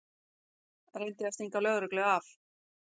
Reyndi að stinga lögreglu af